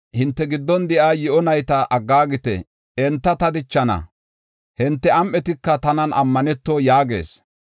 Hinte giddon de7iya yi7o nayta aggaagite; enta ta dichana. Hinte am7etika tanan ammaneto” yaagees.